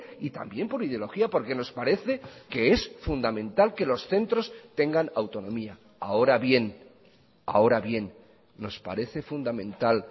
y también por ideología porque nos parece que es fundamental que los centros tengan autonomía ahora bien ahora bien nos parece fundamental